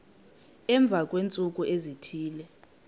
emva kweentsuku ezithile